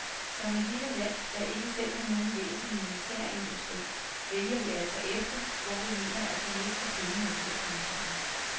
Som et lille land, der ikke selv har nogen væsentlig militærindustri, vælger vi altså efter, hvor vi mener at få mest for pengene, lyder kommentaren.